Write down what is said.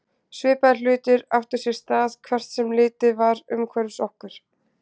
Svipaðir hlutir áttu sér stað hvert sem litið var umhverfis okkur.